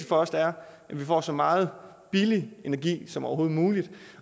for os er at vi får så meget billig energi som overhovedet muligt